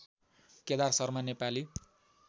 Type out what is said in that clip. Kedar Sharma Nepali